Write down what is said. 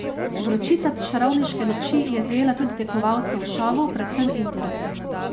Vročica čarovniške noči je zajela tudi tekmovalce v šovu, predvsem Indiro.